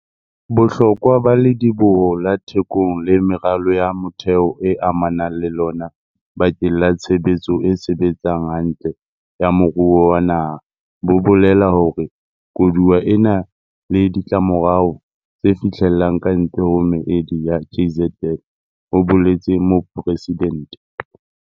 Bohlokwa ba Lediboho la Thekong le meralo ya motheo e amanang le lona bakeng la tshebetso e sebetsang hantle ya moruo wa naha bo bolela hore koduwa ena e na le ditlamorao tse fihlellang kantle ho meedi ya KZN, ho boletse mopresidente.